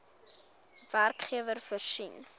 werkgewer voorsien